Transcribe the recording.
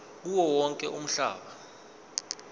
kuwo wonke umhlaba